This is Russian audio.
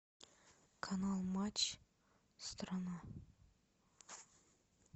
канал матч страна